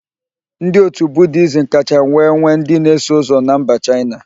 Ndị okpukpere Budiizm kacha wee nwee ndị na-eso ụzọ na mba Chaịna.